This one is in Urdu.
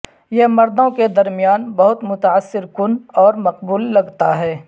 یہ مردوں کے درمیان بہت متاثر کن اور مقبول لگتا ہے